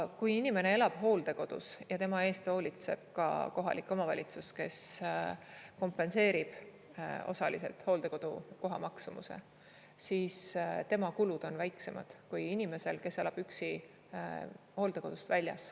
Kui inimene elab hooldekodus ja tema eest hoolitseb ka kohalik omavalitsus, kes kompenseerib osaliselt hooldekodukoha maksumuse, siis tema kulud on väiksemad kui inimesel, kes elab üksi hooldekodust väljas.